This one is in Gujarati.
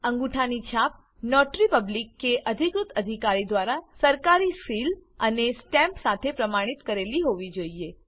અંગૂઠાની છાપ નોટરી પબ્લિક કે અધિકૃત અધિકારી દ્વારા સરકારી સીલ અને સ્ટેમ્પ સાથે પ્રમાણિત કરેલી હોવી જોઈએ